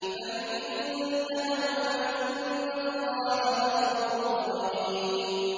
فَإِنِ انتَهَوْا فَإِنَّ اللَّهَ غَفُورٌ رَّحِيمٌ